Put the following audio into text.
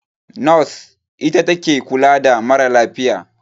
Nos ita take kula da ma ra lafiya